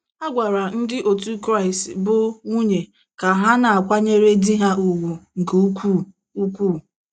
A gwara ndị òtù Kraịst bụ́ nwunye ka ha na - akwanyere di ha ùgwù nke ukwuu. ukwuu.